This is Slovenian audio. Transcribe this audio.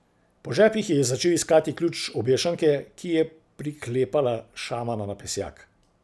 Po žepih je začel iskati ključ obešanke, ki je priklepala šamana na pesjak.